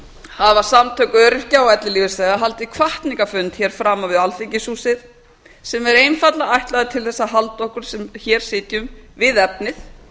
hafa samtök öryrkja og ellilífeyrisþega haldið hvatningarfund hér framan við alþingishúsið sem er einfaldlega ætlaður til þess að halda okkur sem hér sitjum við efnið